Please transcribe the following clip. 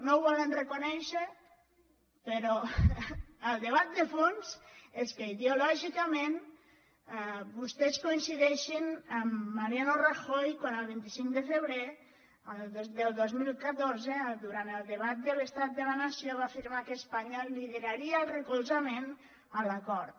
no ho volen reconèixer però el debat de fons és que ideològicament vostès coincideixen amb mariano rajoy quan el vint cinc de febrer del dos mil catorze durant el debat de l’estat de la nació va afirmar que espanya lideraria el recolzament a l’acord